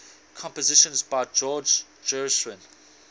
compositions by george gershwin